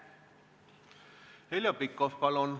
Heljo Pikhof, palun!